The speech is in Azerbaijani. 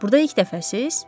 Burda ilk dəfəsiz?